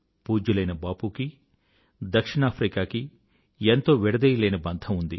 పూజ్యులైన బాపూకీ దక్షిణాఫ్రికాకి ఎంతో విడదీయలేని బంధం ఉంది